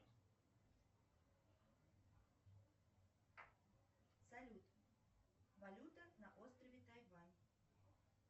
салют валюта на острове тайвань